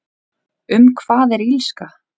Um hvað er Illska?